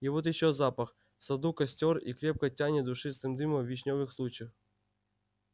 и вот ещё запах в саду костёр и крепко тянет душистым дымом вишнёвых сучьев